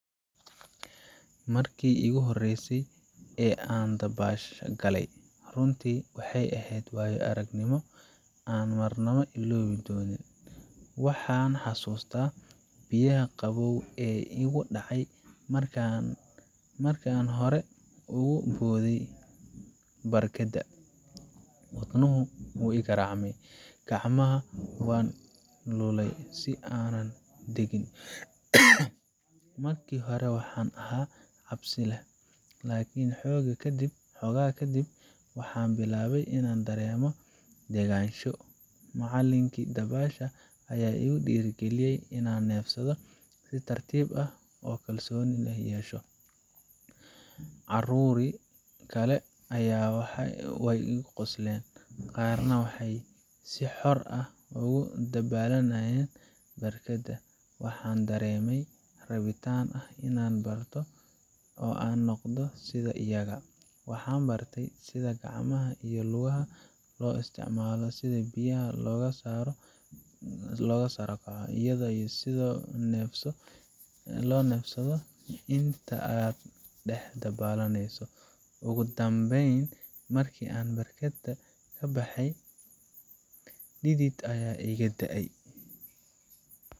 Markii iigu horreysay ee aan dabaasha galay, runtii waxay ahayd waayo aragnimo aan marnaba illoobi doonin. Waxaan xasuustaa biyaha qabow ee igu dhacay marka aan hore ugu booday barkadda. Wadnuhu wuu igaraacmay gacmahana waan lulayay si aanan u degin. Markii hore waxaan ahaa cabsi leh, laakiin xoogaa kadib, waxaan bilaabay inaan dareemo degganaansho. Macallinkii dabaasha ayaa igu dhiirrigeliyay inaan neefsado si tartiib ah oo aan kalsooni yeesho. Carruur kale ayaa igu qoslen, qaarna waxay si xor ah ugu dabaalanayeen barkadda. Waxaan dareemay rabitaan ah inaan barto oo aan noqdo sida iyaga. Waxaan bartay sida gacmaha iyo lugaha loo isticmaalo, sida biyaha looga sara kaco, iyo sida loo neefsado inta aad dhex dabaalanayso. Ugu dambeyn, markii aan barkadda ka baxay, dhidid ayaa iga da’ayay.